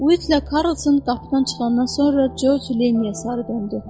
Uyidlə Karlson qapıdan çıxandan sonra Corc Leninə sarı döndü.